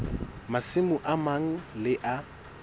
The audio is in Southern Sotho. masimo a mang le a